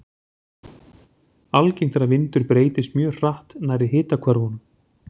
Algengt er að vindur breytist mjög hratt nærri hitahvörfunum.